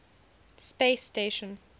space station